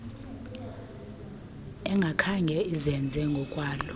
engakhange izenze ngokwalo